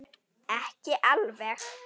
Ekki alveg.